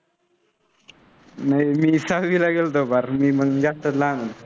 नाय, मी सहावीला गेलो होतो फार मी मंग जास्तच लहान होतो.